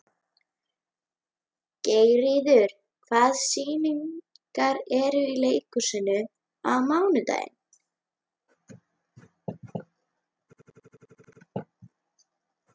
Geirríður, hvaða sýningar eru í leikhúsinu á mánudaginn?